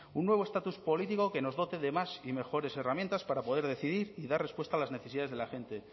un nuevo estatus político que nos dote de más y mejores herramientas para poder decidir y dar respuesta a las necesidades de la gente